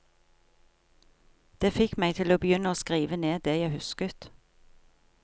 Det fikk meg til å begynne å skrive ned det jeg husket.